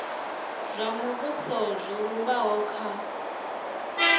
zwa muvhuso zwo lumbaho kha